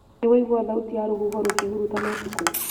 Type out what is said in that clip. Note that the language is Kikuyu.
Nĩwaigua thauti ya rũhuho rũkĩhurutana ũtukũ?